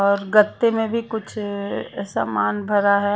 और गाते में भी कुछ सामान भरा हैं।